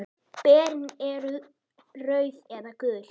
Berin eru rauð eða gul.